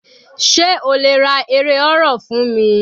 Sé o lè ra eré horror fún mi?